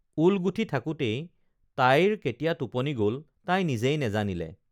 ঊল গুঠি থাকোতেই তাইৰ কেতিয়া টোপনি গল তাই নিজেই নেজানিলে